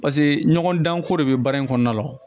Paseke ɲɔgɔndanko de bɛ baara in kɔnɔna la